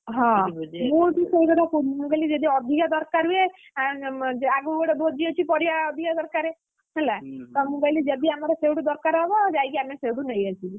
ହଁ ମୁଁ ବି ସେଇ କଥା କହୁଥିଲି ଯଦି ଅଧିକା ଦରକାର ହୁଏ, ଆ~ଆଗକୁ ଗୋଟେ ଭୋଜି ଅଛି ପରିବା ଅଧିକା ଦରକାର ହେଲା, ତ ମୁଁ କହିଲି ଯଦି ଆମର ସେଇଠୁ ଦରକାର ହବ ଆମେ ଯାଇକି ସେଇଠୁ ନେଇ ଆସିବୁ।